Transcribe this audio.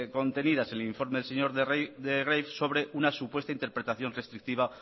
contenidas en el informe del señor de greiff sobre una supuesta interpretación restrictiva